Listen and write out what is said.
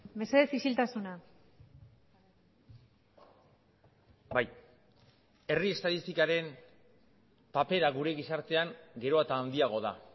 mesedez isiltasuna bai herri estatistikaren papera gure gizartean gero eta handiago da